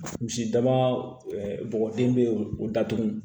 Misidaba bɔgɔden be o datugu